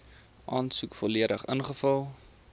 aansoek volledig ingevul